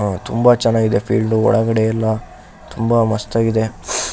ಅಹ್ ತುಂಬಾ ಚೆನ್ನಾಗಿದೆ ಫೀಲ್ಡು ಎಲ್ಲ ತುಂಬಾ ಮಸ್ತ್ ಆಗಿದೆ.